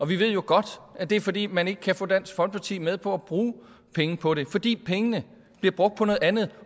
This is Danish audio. vi ved jo godt at det er fordi man ikke kan få dansk folkeparti med på at bruge penge på det fordi pengene bliver brugt på noget andet